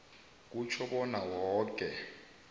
kutjho bona woke